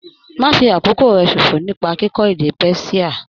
Má fi àkókò rẹ ṣòfò nípa kíkọ́ èdè Persia.